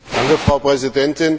Frau Präsidentin!